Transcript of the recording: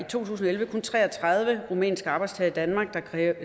to tusind og elleve kun tre og tredive rumænske arbejdstagere i danmark